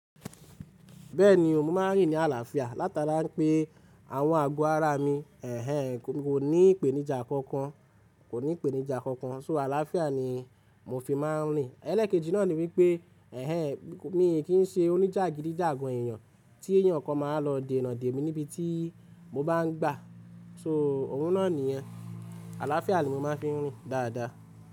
Bẹ́ẹ̀ ni o, mo máa ń rìn ní àlàáfíà látara pé àwọn àgọ́ ara mi, kò ní ìpèníjà kankan, kò ní ìpèníjà kankan, so àlàáfíà ni mo fi máa ń rìn. Ẹ̀lẹ́ẹ̀kejì náà ni wípé, mi kì í ṣe oníjàgídíjàgan èèyàn tí èèyàn kan máa lọ dènà dè mi níbi tí mo bá ń gbà, so òun náà nìyẹn. Àlàáfíà ni mo máa ń fi ń rìn dáadáa.